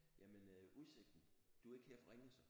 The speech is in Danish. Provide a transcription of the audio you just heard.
Jamen udsigten du er ikke her fra Ringe så?